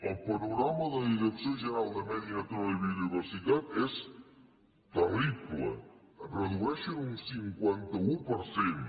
el panorama de la direcció general de medi natural i biodiversitat és terrible redueixen un cinquanta un per cent